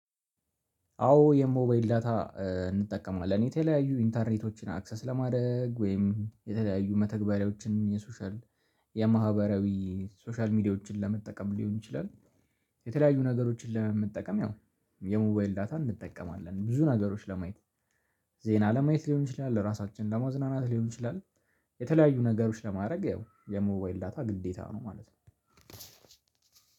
አዎ የሞባይል ዳታ እንጠቀማለን። የተለያዩ ኢንተርኔቶችን አክሰስ ለማድረግ ወይም የተለያዩ መተግበሪያዎችን የሶሻል የማህበራዊ ሶሻል ሚዲያዎችን ለመጠቀም ሊሆን ይችላል የተለያዩ ነገሮችን ለመጠቀመያው የሞባይል ዳታ እንጠቀማለን። ብዙ ነገሮች ለማየት ዜና ለማየት ሊሆን ይችላል ለራሳችን ለመዝናናት ሊሆን ይችላል የተለያዩ ነገሮች ለማድረግ ያው የሞባይል ዳታ ግዴታ ነው ማለት ነው